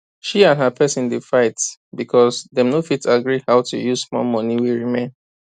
she and her person dey fight because dem no fit agree how to use small money wey remain